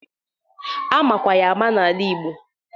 Amakwa ya ama n'ala igbo.